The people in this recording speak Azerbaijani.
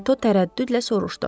Reto tərəddüdlə soruşdu.